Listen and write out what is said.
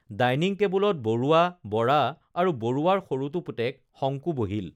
dining টেবুলত বৰুৱা বৰা আৰু বৰুৱাৰ সৰুটো পুতেক শংকু বহিল